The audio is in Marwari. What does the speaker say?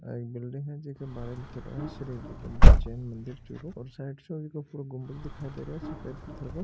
यहां एक बिल्डिंग है जीके बारे लिखेड़ो है श्री दिगम्बर जैन मंदिर चूरू और साइड सु इसके ऊपर गुम्बज दिख रो है सफेद पत्थर को --